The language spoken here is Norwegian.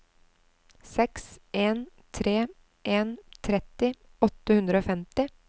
seks en tre en tretti åtte hundre og femti